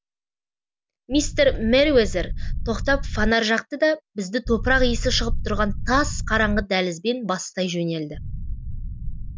мистер мерриуэзер тоқтап фонарь жақты да бізді топырақ иісі шығып тұрған тас қараңғы дәлізбен бастай жөнелді